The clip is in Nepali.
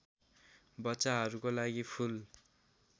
बच्चाहरूको लागि फुल